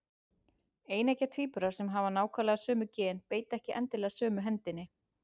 Eineggja tvíburar sem hafa nákvæmlega sömu gen beita ekki endilega sömu hendinni.